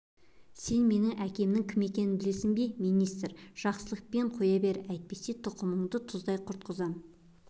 сен менің әкемнің кім екенін білесің бе министр жақсылықпен қоя бер әйтпесе тұқымыңды тұздай құртқызам